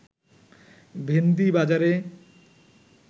ভেন্দি বাজারে